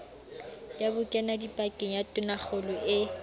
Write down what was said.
ya bokenadipakeng ya tonakgolo e